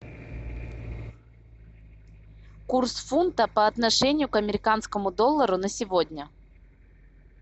курс фунта по отношению к американскому доллару на сегодня